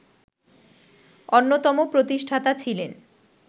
অন্যতম প্রতিষ্ঠাতা ছিলেন